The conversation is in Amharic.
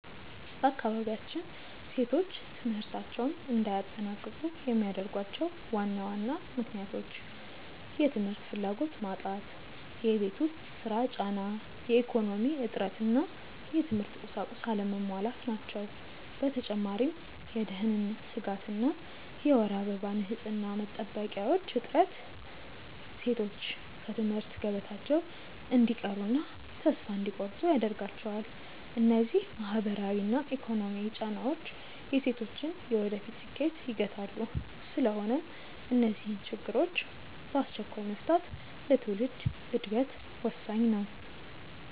በአካባቢያችን ሴቶች ትምህርታቸውን እንዳያጠናቅቁ የሚያደርጓቸው ዋና ዋና ምክንያቶች፦ የ ትምህርት ፍላጎት መጣት የቤት ውስጥ ሥራ ጫና፣ የኢኮኖሚ እጥረት እና የትምህርት ቁሳቁስ አለመሟላት ናቸው። በተጨማሪም የደህንነት ስጋት እና የወር አበባ ንፅህና መጠበቂያዎች እጥረት ሴቶች ከትምህርት ገበታቸው እንዲቀሩና ተስፋ እንዲቆርጡ ያደርጋቸዋል። እነዚህ ማህበራዊና ኢኮኖሚያዊ ጫናዎች የሴቶችን የወደፊት ስኬት ይገታሉ። ስለሆነም እነዚህን ችግሮች በአስቸኳይ መፍታት ለትውልድ ዕድገት ወሳኝ ነው።